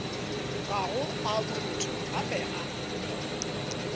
gago a borutho gape a